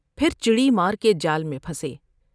پھر چڑی مار کے جال میں پھنسے ۔